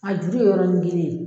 A juru ye yɔrɔnin kelen ye.